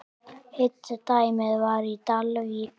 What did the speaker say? Hitt dæmið var í Dalvík.